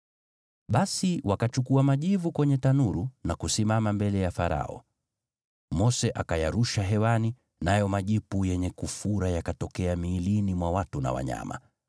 Basi wakachukua majivu kwenye tanuru na kusimama mbele ya Farao. Mose akayarusha hewani, nayo majipu yenye kufura yakatokea miilini mwa watu na wanyama.